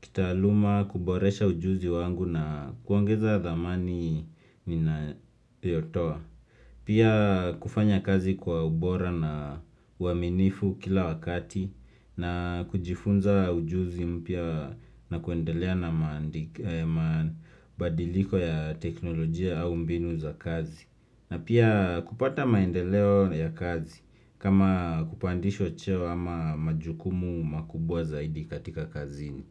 kitaaluma, kuboresha ujuzi wangu na kuongeza dhamani ninayotoa. Pia kufanya kazi kwa ubora na uaminifu kila wakati na kujifunza ujuzi mpya na kuendelea na mabadiliko ya teknolojia au mbinu za kazi. Na pia kupata maendeleo ya kazi kama kupandisho cheo ama majukumu makubwa zaidi katika kazini.